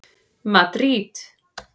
Madríd